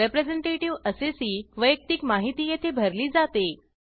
representative assessee वैयक्तिक माहिती येथे भरली जाते